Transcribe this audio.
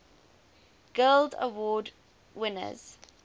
guild award winners